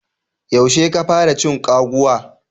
Yaushe ka fara cin kwaguwa.